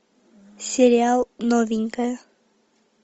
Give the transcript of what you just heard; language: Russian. сериал новенькая